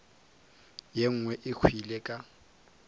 ye nngwe e hwile ka